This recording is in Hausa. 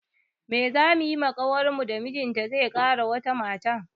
Mai zamu saya wa ƙawarmu da mijinta zai kara wata mata?